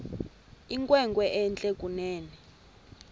inkwenkwe entle kunene